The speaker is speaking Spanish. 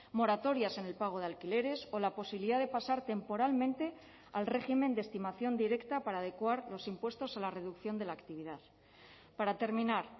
moratorias en el pago de alquileres o la posibilidad de pasar temporalmente al régimen de estimación directa para adecuar los impuestos a la reducción de la actividad para terminar